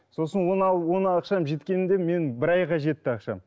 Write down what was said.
сосын оны алып оны ақшам жеткенінде менің бір айға жетті ақшам